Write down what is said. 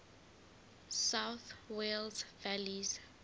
south wales valleys